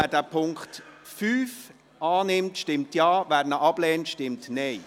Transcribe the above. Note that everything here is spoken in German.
Wer den Punkt 5 annimmt, stimmt Ja, wer diesen ablehnt, stimmt Nein.